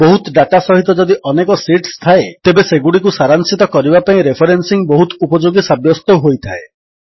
ବହୁତ ଡାଟା ସହିତ ଯଦି ଅନେକ ଶୀଟ୍ସ ଥାଏ ତେବେ ସେଗୁଡ଼ିକୁ ସାରାଂଶିତ କରିବା ପାଇଁ ରେଫରେନ୍ସିଙ୍ଗ୍ ବହୁତ ଉପଯୋଗୀ ସାବ୍ୟସ୍ତ ହୋଇଥାଏ